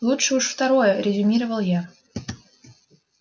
лучше уж второе резюмировал я